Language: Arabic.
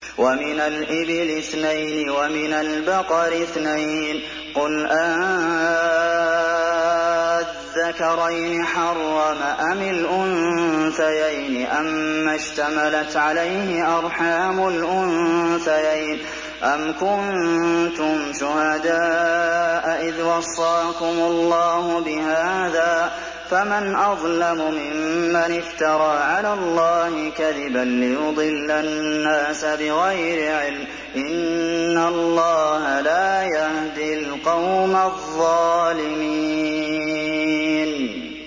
وَمِنَ الْإِبِلِ اثْنَيْنِ وَمِنَ الْبَقَرِ اثْنَيْنِ ۗ قُلْ آلذَّكَرَيْنِ حَرَّمَ أَمِ الْأُنثَيَيْنِ أَمَّا اشْتَمَلَتْ عَلَيْهِ أَرْحَامُ الْأُنثَيَيْنِ ۖ أَمْ كُنتُمْ شُهَدَاءَ إِذْ وَصَّاكُمُ اللَّهُ بِهَٰذَا ۚ فَمَنْ أَظْلَمُ مِمَّنِ افْتَرَىٰ عَلَى اللَّهِ كَذِبًا لِّيُضِلَّ النَّاسَ بِغَيْرِ عِلْمٍ ۗ إِنَّ اللَّهَ لَا يَهْدِي الْقَوْمَ الظَّالِمِينَ